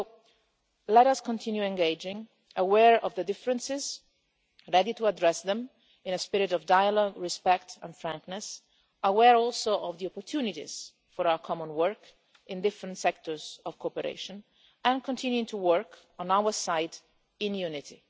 So let us continue to engage, aware of the differences, ready to address them, in a spirit of dialogue, respect and frankness, aware also of the opportunities for our common work in different sectors of cooperation, and continuing to work on our side in unity.